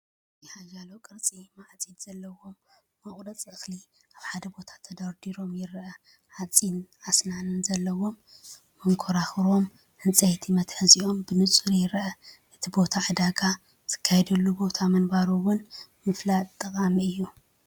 እዚ ሓያሎ ቅርጺ ማዕጺድ ዘለዎም መቑረጺ እኽሊ ኣብ ሓደ ቦታ ተደራሪቦም የርኢ። ሓጺን ኣስናን ዘለዎም መንኮርኮሮምን ዕንጨይቲ መትሓዚኦምን ብንጹር ይርአ። እቲ ቦታ ዕዳጋ ዝካየደሉ ቦታ ምንባሩ እውን ምፍላጥ ጠቓሚ እዩ።